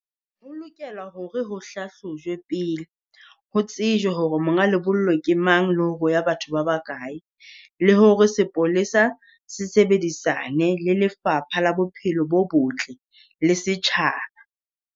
Ho lokela hore ho hlahlojwe pele, ho tsejwe hore monga lebollo ke mang, le hore ho ya batho ba bakae. Le hore sepolesa se sebedisane le Lefapha la Bophelo bo Botle le setjhaba.